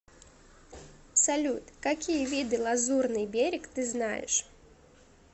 салют какие виды лазурный берег ты знаешь